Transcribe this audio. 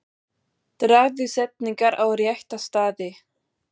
Dragðu setningar á rétta staði.